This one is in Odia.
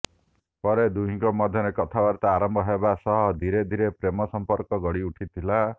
ପରେ ଦୁହିଁଙ୍କ ମଧ୍ୟରେ କଥାବାର୍ତ୍ତା ଆରମ୍ଭ ହେବା ସହ ଧିରେ ଧିରେ ପ୍ରେମ ସମ୍ପର୍କ ଗଢି ଉଠିଥିଲା